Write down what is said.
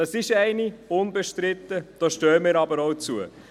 Das ist eine, unbestritten, da stehen wir aber auch dazu.